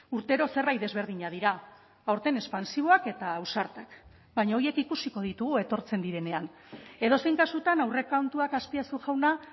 urtero zerbait desberdinak dira aurten espansiboak eta ausartak baina horiek ikusiko ditugu etortzen direnean edozein kasutan aurrekontuak aspiazu jauna